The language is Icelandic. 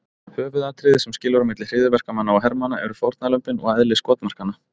Höfuðatriðið sem skilur á milli hryðjuverkamanna og hermanna eru fórnarlömbin og eðli skotmarkanna.